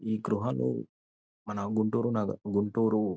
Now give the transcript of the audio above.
ఈ గృహలు మన గుంటూరు నాగ గుంటూరు--